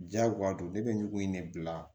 Jagoya don ne bɛ ɲugu in ne bila